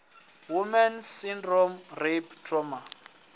woman s syndrome rape trauma